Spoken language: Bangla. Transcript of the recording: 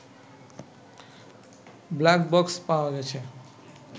ব্লাকবক্স পাওয়া গেছে